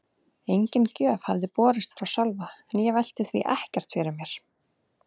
Engin gjöf hafði borist frá Sölva en ég velti því ekkert fyrir mér.